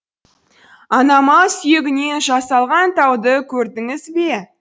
ана мал сүйегінен жасалған тауды көрдіңіз бе